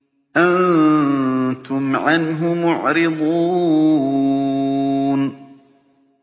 أَنتُمْ عَنْهُ مُعْرِضُونَ